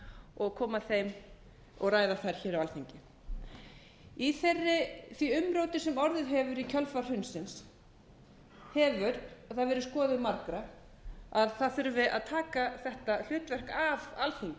og koma þeim og ræða þær hér á alþingi í því umróti sem orðið hefur í kjölfar hrunsins hefur það verið skoðun margra að það þurfi að taka þetta hlutverk af alþingi og það